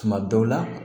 Tuma bɛɛ la